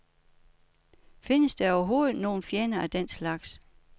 Findes der overhoved nogen fjender af den slags?